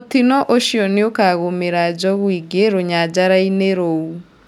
Mũtino ũcio nĩũkagũmĩra njogu ingĩ rũnyanjarainĩ rũu.